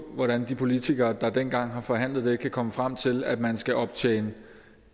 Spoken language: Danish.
hvordan de politikere der dengang har forhandlet det kan komme frem til at man skal optjene